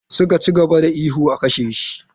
Suka ci gaba da ihu 'a kashe shi!'